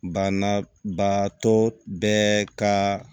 Banabaatɔ bɛɛ ka